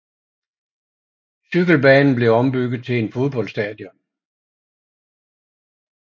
Cykelbanen blev ombygget til et fodboldstadion